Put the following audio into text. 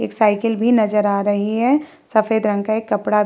एक साइकिल भी नज़र आ रही है। सफ़ेद रंग का एक कपड़ा --